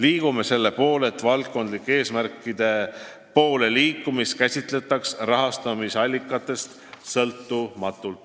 Eesmärk on, et valdkondlike eesmärkide poole liikumist käsitletaks rahastusallikatest sõltumatult.